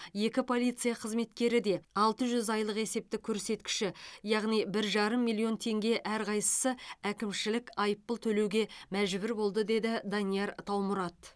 екі полиция қызметкері де алты жүз айлық есептік көрсеткіші яғни бір жарым миллион теңге әрқайсысы әкімшілік айыппұл төлеуге мәжбүр болды деді данияр таумұрат